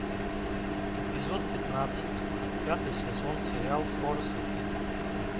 эпизод пятнадцать пятый сезон сериал хорас и пит